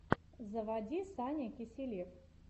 заводи саня киселев